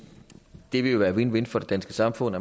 det ville være win win for det danske samfund